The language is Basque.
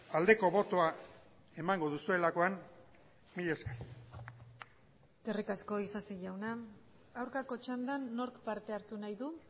aldeko botoa emango duzuelakoan mila esker eskerrik asko isasi jauna aurkako txandan nork parte hartu nahi du